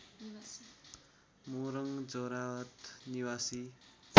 मोरङ झोराहाट निवासी